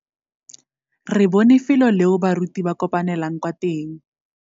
Re bone felô leo baruti ba kopanelang kwa teng.